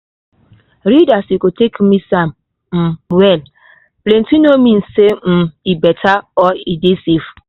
read as you go take mix am um well —plenty no mean say um e better or e dey safe.